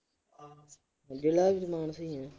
ਜ਼ਿਲ੍ਹਾ ਵੀ ਮਾਨਸਾ ਈ ਆ।